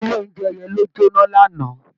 Ilé oúnjẹ yẹn ló jóná lánàá